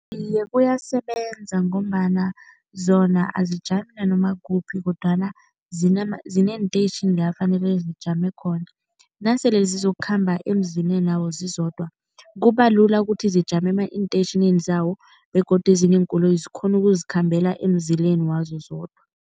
Iye, kuyasebenza ngombana zona azijami nanoma kuphi kodwana zineenteyitjhini la fanele zijame khona. Nasele zizokukhamba emzilenawo zizodwa, kubalula ukuthi zijame eenteyitjhinini zawo begodu ezinye iinkoloyi zikghona ukuzikhambela emzileni wazo zodwa.